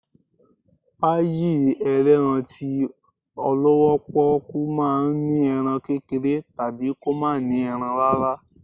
Páyì elerán tí olọwọ poku ma ń ní erán kékeré tabí kọ ma ní erán rara